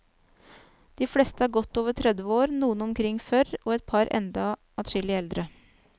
De fleste er godt over tredve år, noen omkring førr og et par enda adskillig eldre.